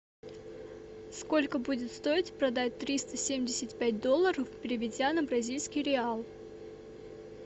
сколько будет стоить продать триста семьдесят пять долларов переведя на бразильский реал